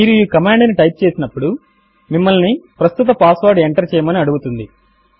మీరు ఈ కమాండ్ ను టైప్ చేసినప్పుడు మిమ్మల్ని ప్రస్తుత పాస్వర్డ్ ఎంటర్ చేయమని అడుగుతుంది